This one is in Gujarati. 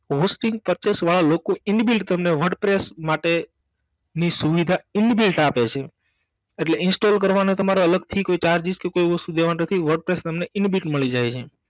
Hosting Purchase વાળા લોકો inbuilt તમને wordpress માટે ની સુવિધા inbuilt આપે છે અટલે install કરવાનો તમારે અલગથી કોઈ charge કે કોઈ એવી વસ્તુ દેવાની નથી wordpress તમન inbuilt મળી જાય છે